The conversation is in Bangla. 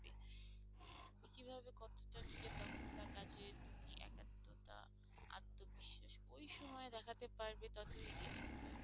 কিভাবে কতটা নিজের দক্ষতা কাজের প্রতি একাত্মতা আত্মবিশ্বাস ওই সময় দেখাতে পারবে ততো এগিয়ে থাকতে পারবে।